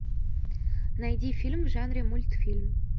найди фильм в жанре мультфильм